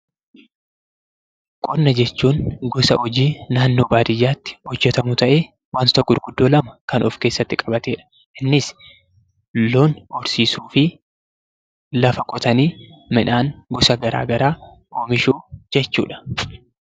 Qonna jechuun gosa hojii naannoo baadiyyaatti beekamu ta'ee wantoota gurguddoo lama lan of keessatti qabatedha. Innis loon horsiisuu fi lafa qotanii midhaan gosa garaa garaa oomishuu jechuudha.